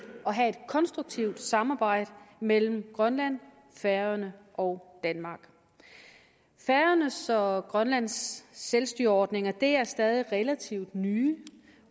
konstruktivt samarbejde mellem grønland færøerne og danmark færøernes og og grønlands selvstyreordninger er stadig relativt nye